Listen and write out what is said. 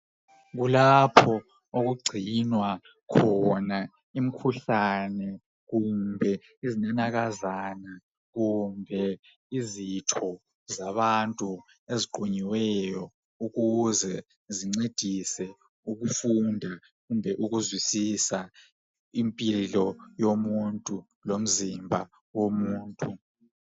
Kulapho okugcinwa khona imkhuhlane kumbe izinanakazana kumbe izitho zabantu eziqunyiweyo ukuze zincedise ukufunda kumbe ukuzwisisa impilo yomuntu lomzimba womuntu